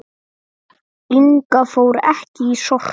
Inga fór ekki í Sorpu.